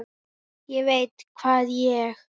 ÉG VEIT HVAÐ ÉG